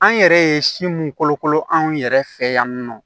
An yɛrɛ ye si mun kolokolo an yɛrɛ fɛ yan nɔ